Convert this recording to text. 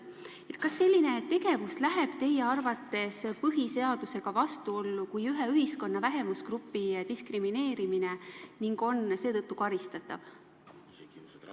" Kas selline tegevus läheb teie arvates põhiseadusega vastuollu kui ühe ühiskonna vähemusgrupi diskrimineerimine ning on seetõttu karistatav?